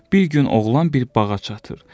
Bir gün oğlan bir bağa çatır.